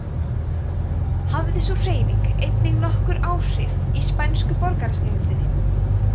hafði sú hreyfing einnig nokkur áhrif í spænsku borgarastyrjöldinni